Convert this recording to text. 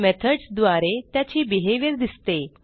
methods द्वारे त्याची behaviour दिसते